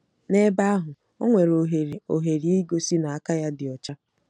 N'ebe ahụ, o nwere ohere ohere igosi na aka ya dị ọcha.